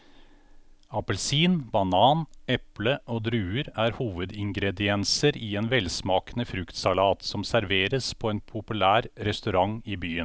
Appelsin, banan, eple og druer er hovedingredienser i en velsmakende fruktsalat som serveres på en populær restaurant i byen.